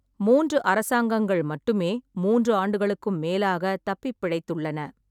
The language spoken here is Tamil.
மூன்று அரசாங்கங்கள் மட்டுமே மூன்று ஆண்டுகளுக்கும் மேலாக தப்பிப்பிழைத்துள்ளன.